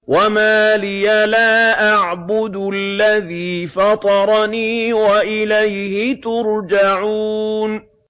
وَمَا لِيَ لَا أَعْبُدُ الَّذِي فَطَرَنِي وَإِلَيْهِ تُرْجَعُونَ